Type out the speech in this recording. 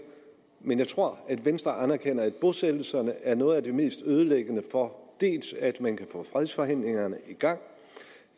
men jeg tror at venstre anerkender at bosættelserne er noget af det mest ødelæggende for at man kan få fredsforhandlingerne i gang